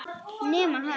Nema hann.